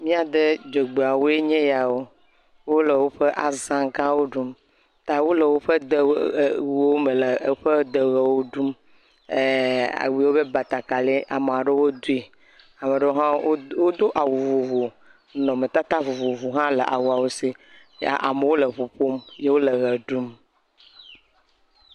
Mía de dzogbeawoe nye yawo, wole woƒe aza gãwo ɖum, ta wole woƒe de wuwo me le eƒe de ʋewo ɖum, ee awu wobe batakari amewo aɖewo dui, ame ɖewo hã wodo awu vovovo, ye nɔnɔmetata vovovowo hã le awawo si, amewo le ŋu ƒom ye wole ʋe ɖum.